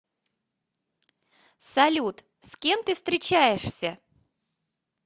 салют с кем ты встречаешься